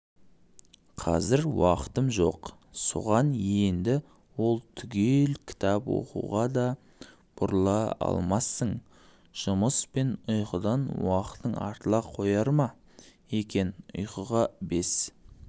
қазір уақытым жоқ соғаненді ол түгіл кітап оқуға да бұрыла алмассың жұмыс пен ұйқыдан уақытың артыла қояр ма екенұйқыға бес